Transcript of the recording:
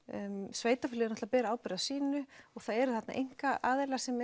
sveitarfélög náttúrulega bera ábyrgð á sínu og það eru þarna einkaaðilar sem